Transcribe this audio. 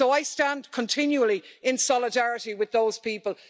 So I stand continually in solidarity with those people.